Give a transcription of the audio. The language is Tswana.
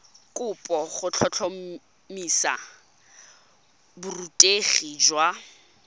kopo go tlhotlhomisa borutegi jwa